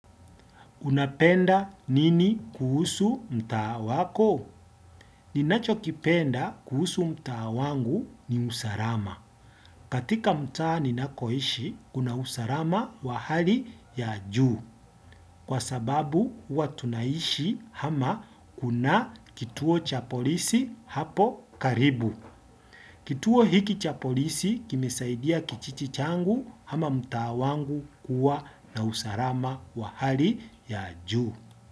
Unapenda nini kuhusu mtaa wako? Ninacho kipenda kuhusu mtaa wangu ni usalama. Katika mtaa ninakoishi, kuna usalama wa hali ya juu. Kwa sababu, huwa tunaishi ama kuna kituo cha polisi hapo karibu. Kituo hiki cha polisi kimesaidia kijiji changu ama mtaa wangu kuwa na usalama wa hali ya juu.